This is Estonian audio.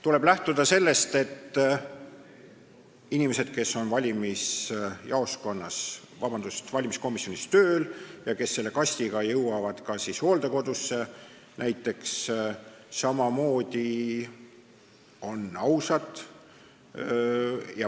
Tuleb lähtuda sellest, et inimesed, kes on valimiskomisjonis tööl ja kes selle kastiga lähevad näiteks hooldekodusse, on ausad.